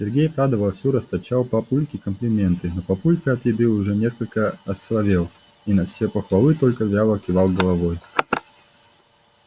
сергей правда вовсю расточал папульке комплименты но папулька от еды уже несколько осоловел и на все похвалы только вяло кивал головой